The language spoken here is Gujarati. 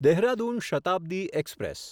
દેહરાદૂન શતાબ્દી એક્સપ્રેસ